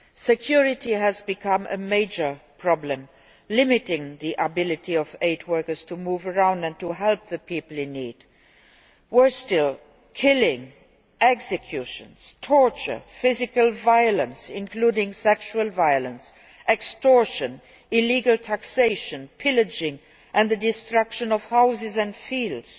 Security has become a major problem, limiting the ability of aid workers to move around and help the people in need. Worse still, killing, executions, torture, physical violence, including sexual violence, extortion, illegal taxation, pillaging and the destruction of houses and fields